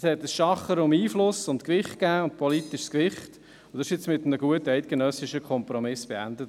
Es gab ein Schachern um Einfluss und politisches Gewicht, und dieses wurde jetzt mit einem guten eidgenössischen Kompromiss beendet.